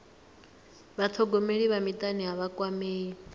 vhathogomeli vha mutani a vha kwamei